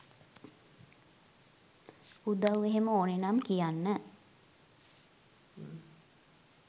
උදව් එහෙම ඕනේනම් කියන්න